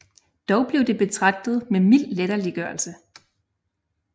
Dog blev det betragtet med mild latterliggørelse